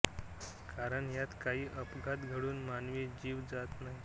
कारण यात काही अपघात घडून मानवी जीव जात नाही